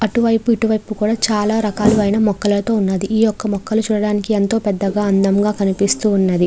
అటు వైపు ఇటు వైపు కూడా చాలా రకాలైన మొక్కలతో ఉన్నది. ఈ ఒక మొక్కలు చూడటానికి ఎంతో పెద్దవిగా అందముగా కనిపిస్తూ ఉన్నవి.